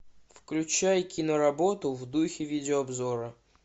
включай киноработу в духе видеообзора